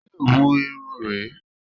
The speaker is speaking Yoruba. Ṣé òwu Irun rè é?